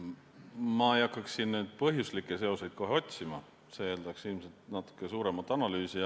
Ma ei hakkaks siin põhjuslikke seoseid kohe otsima, see eeldaks ilmselt natuke suuremat analüüsi.